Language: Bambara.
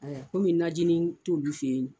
Komi najinin t'olu fɛ yen.